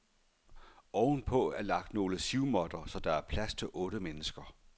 Ovenpå er lagt nogle sivmåtter, så der er plads til otte mennesker.